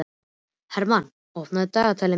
Hermann, opnaðu dagatalið mitt.